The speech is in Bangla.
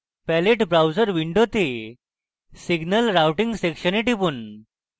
palette browser window signal routing সেকশনে টিপুন